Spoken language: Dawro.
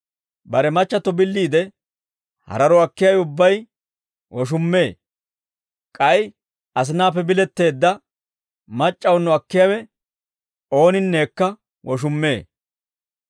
«Bare machchatto billiide hararo akkiyaawe ubbay woshummee; k'ay asinaappe biletteedda mac'c'awuno akkiyaawe ooninnekka woshummee.